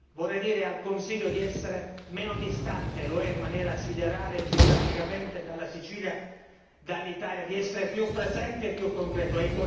vorrei dire al Consiglio di essere meno distante lo è in maniera siderale, geograficamente dalla Sicilia, dall'Italia di essere più presente e più concreto.